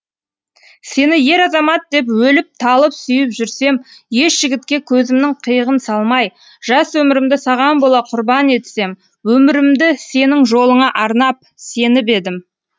сені ер азамат деп өліп талып сүйіп жүрсем еш жігітке көзімнің қиығын салмай жас өмірімді саған бола құрбан етсем өмірімді сенің жолыңа арнап сеніп едім